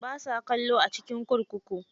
Ba sa kallo a cikin kurkuku.